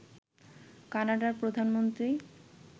কানাডার প্রধানমন্ত্রী